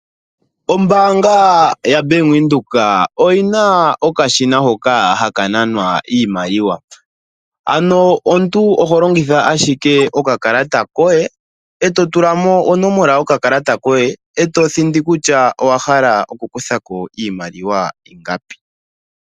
Ombaanga yaVenduka oyina okashina hoka haka nanwa iimaliwa. Ano omuntu oho longitha owala okakalata koye eto thindi kutya owa hala okukutha iimaliwa ingapi.